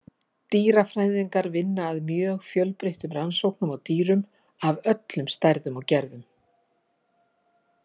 Dýrafræðingar vinna að mjög fjölbreytilegum rannsóknum á dýrum af öllum stærðum og gerðum.